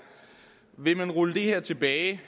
vil man rulle det her tilbage